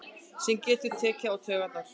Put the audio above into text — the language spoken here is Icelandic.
Sem getur tekið á taugarnar.